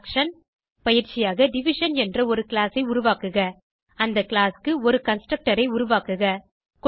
subtraction பயிற்சியாக division என்ற ஒரு கிளாஸ் ஐ உருவாக்குக அந்த கிளாஸ் க்கு ஒரு கன்ஸ்ட்ரக்டர் ஐ உருவாக்குக